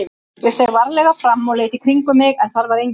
Ég steig varlega fram og leit í kringum mig en þar var enginn.